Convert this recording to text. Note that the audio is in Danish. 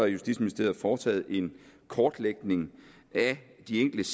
justitsministeriet foretaget en kortlægning af de enkelte